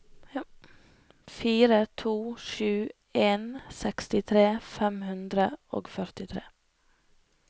fire to sju en sekstitre fem hundre og førtitre